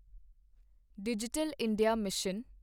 digital India mission